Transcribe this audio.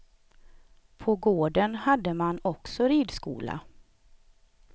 På gården hade man också ridskola.